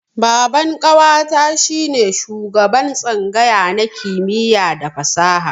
Baban ƙawata shi ne shugaban tsangaya na kimiyya da fasaha.